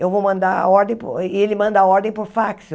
Eu vou mandar a ordem para o e ele manda a ordem por fax.